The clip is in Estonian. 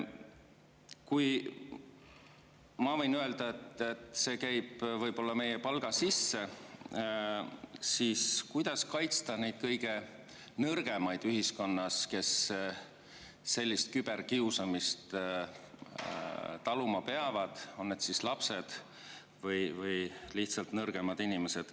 Kui ma võin öelda, et see käib võib-olla meie palga sisse, siis kuidas kaitsta neid kõige nõrgemaid ühiskonnas, kes sellist küberkiusamist taluma peavad, on need lapsed või lihtsalt nõrgemad inimesed?